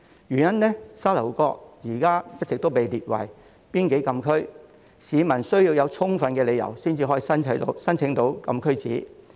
由於沙頭角現在一直被列為邊境禁區，市民需要有充分理由才可以申請禁區紙。